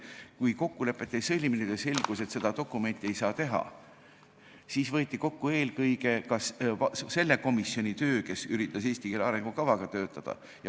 Kui kokkulepet ei sõlmitud ja selgus, et seda dokumenti ei saa teha, siis võeti kokku eelkõige selle komisjoni töö, kes üritas töötada eesti keele arengukavaga.